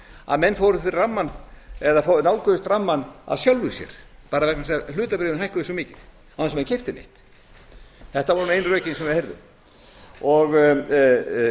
að menn nálguðust rammann af sjálfu sér bara vegna þess að hlutabréfin hækkuðu svo mikið án þess að menn keyptu neitt þetta voru ein rökin sem við heyrðum